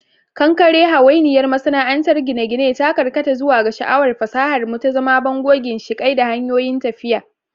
Kankare, hawainiyar masana'antar gine-gine, ta karkata zuwa ga sha'awar fasahar mu, ta zama bango, ginshiƙai, da hanyoyin tafiya.